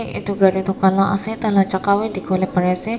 itu gari toh kala ase taila jaka wa dikhiwole pari ase.